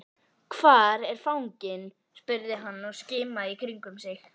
Hvar er fanginn? spurði hann og skimaði í kringum sig.